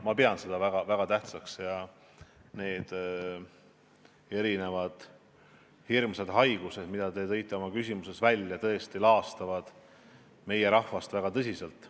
Ma pean seda väga tähtsaks, sest need hirmsad haigused, mida te oma küsimuses nimetasite, tõesti laastavad meie rahvast väga tõsiselt.